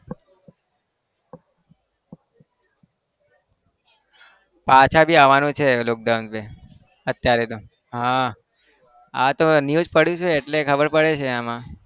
પાછા બી આવાનું છે lockdown પછી અત્યારે તો હા આ તો newsपढू છું એટલે ખબર પડી છે આ માં